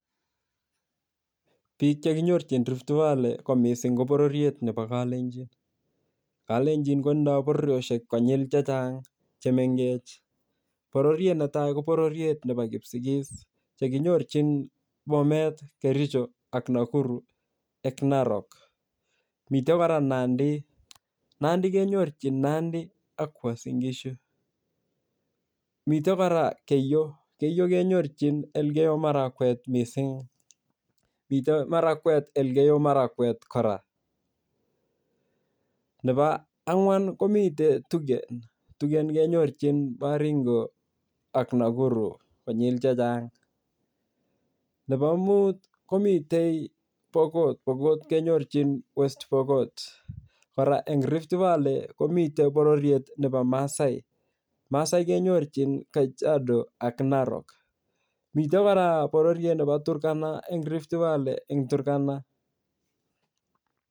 Biik che kinyorchin Rift Valley ko mising ko bororiet nebo kalenjin. Kalenjin ko tinye bororiosiek konyil chechang che mengech. Boririet netai ko bororoet nebo kipsigis chekinyorchin Bomet, Kericho ak Nakuru ak Narok. Mite kora Nandi. Nandi kenyorchin Nandi ak Uasin Gishu. Mite kora Keiyo. Keiyo kenyorchin Elgeyo Marakwet mising. Mite Marakwet Elgeyo Marakwet kora. Nebo angwan komite Tugen. Tugen kenyorchin Baringo ak Nakuru konyil chechang. Nebomut komitei Pokot. Pokot kenyorchin West Pokot. Kora eng Rift Valley komite bororiet nebo Maasai. Maasai kenyorchin Kajiado ak Narok. Mite kora bororoit nebo Turkana eng Rift Valley eng Turkana.